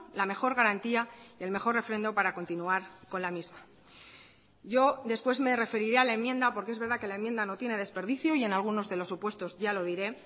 la mejor garantía y el mejor refrendo para continuar con la misma yo después me referiré a la enmienda porque es verdad que la enmienda no tiene desperdicio y en algunos de los supuestos ya lo diré